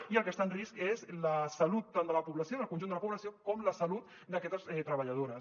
i el que està en risc és la salut tant de la població del conjunt de la població com la salut d’aquestes treballadores